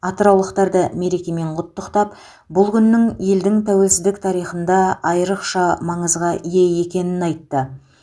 атыраулықтарды мерекемен құттықтап бұл күннің елдің тәуелсіздік тарихында айрықша маңызға ие екенін айтты